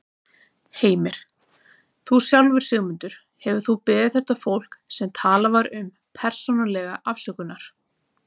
Heimir: Þú sjálfur, Sigmundur, hefurðu þú beðið þetta fólk, sem talað var um, persónulega afsökunar?